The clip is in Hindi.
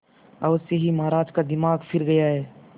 अवश्य ही महाराज का दिमाग फिर गया है